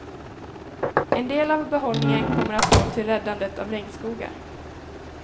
En del av behållningen kommer att gå till räddandet av regnskogar.